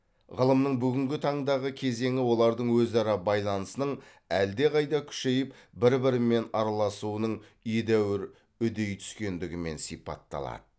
ғылымның бүгінгі таңдағы кезеңі олардың өзара байланысының әлдеқайда күшейіп бір бірімен араласуының едәуір үдей түскендігімен сипатталады